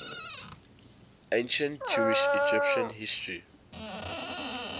ancient jewish egyptian history